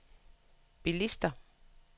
bilister